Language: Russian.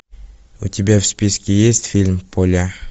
у тебя в списке есть фильм поля